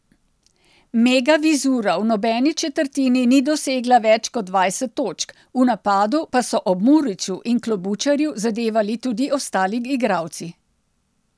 Mega Vizura v nobeni četrtini ni dosegla več kot dvajset točk, v napadu pa so ob Muriću in Klobučarju zadevali tudi ostali igralci.